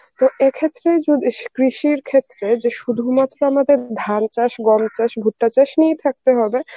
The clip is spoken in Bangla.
তো এক্ষেত্রেই যদি সি~ কৃষির ক্ষেত্রে যে শুধুমাত্র আমাদের ধান চাষ, গম চাষ, ভুট্টা চাষ নিয়েই থাকতে হবে